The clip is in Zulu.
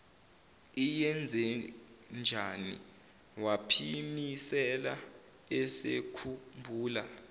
iyenzenjani waphimisela esekhumbula